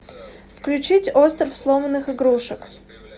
включить остров сломанных игрушек